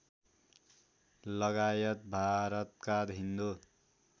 लगायत भारतका हिन्दु